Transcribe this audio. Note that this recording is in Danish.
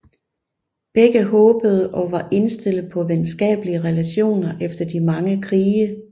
Begge håbede og var indstillet på venskabelige relationer efter de mange krige